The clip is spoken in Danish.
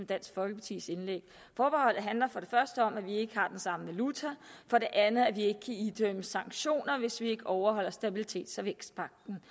dansk folkepartis indlæg forbeholdet handler for det første om at vi ikke har den samme valuta for det andet at vi ikke kan idømmes sanktioner hvis vi ikke overholder stabilitets og vækstpagten